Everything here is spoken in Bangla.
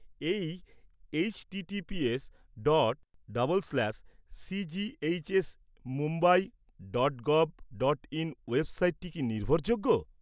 এই H T T P S dot double slash C G H S Mumbai dot gov dot in ওয়েবসাইটটি কি নির্ভরযোগ্য?